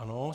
Ano.